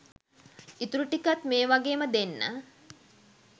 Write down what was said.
ඉතුරු ටිකත් මේ වගේම දෙන්න